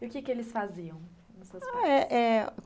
E o que que eles faziam? Os seus pais, eh eh